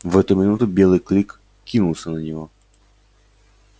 в эту минуту белый клык кинулся на него